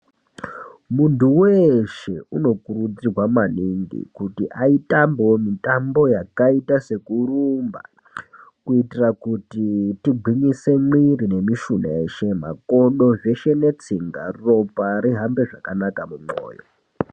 Muntu weshe uno kurudzirwa maningi kuti atembewo mitambo yakaita seku rumba kuitira kuti tingwinyise mwiri ne mishuna yeshe makodo zveshe ne tsinga ropa rihambe zvakanaka mu mwoyo.